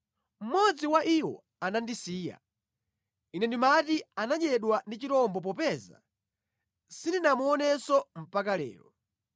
Mmodzi wa iwo anandisiya. Ine ndimati anadyedwa ndi chirombo popeza sindinamuonenso mpaka lero.